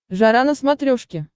жара на смотрешке